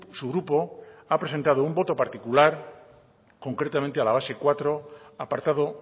su grupo ha presentado un voto particular concretamente a la base cuatro apartado